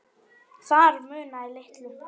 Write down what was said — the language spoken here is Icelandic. Þar munaði litlu.